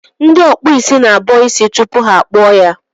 Ndị ọkpụ isi na-abọ isi tupu ha akpụọ ya.